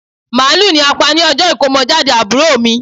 Màálù ni a pa ni ọjọ́ ìkómọjáde àbúrò mi